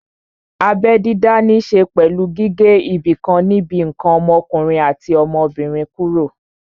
Abẹ́ dídá ní ṣe pẹ̀lú gígé ibìkan níbi ǹkan ọmọkùnrin àti ọmọbìnrin kúrò